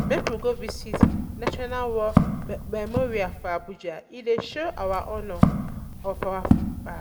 Make we go visit National War um Memorial for Abuja, e dey honour our fallen heroes.